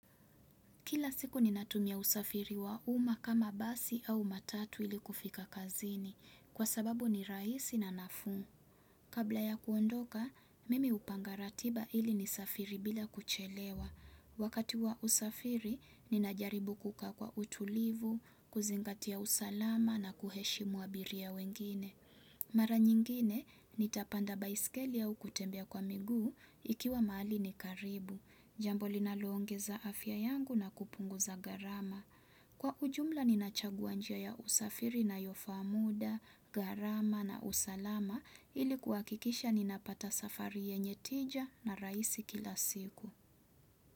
Kila siku ninatumia usafiri wa umma kama basi au matatu ili kufika kazini, kwa sababu ni raisi na nafuu. Kabla ya kuondoka, mimi hupanga ratiba ili nisafiri bila kuchelewa. Wakati wa usafiri, ninajaribu kukaa kwa utulivu, kuzingatia usalama na kuheshimu abiria wengine. Mara nyingine, nitapanda baiskeli au kutembea kwa miguu ikiwa mahali ni karibu. Jambo linaloongeza afya yangu na kupunguza gharama. Kwa ujumla ninachagua njia ya usafiri inayofaa muda, gharama na usalama ili kuakikisha ninapata safari yenye tija na raisi kila siku.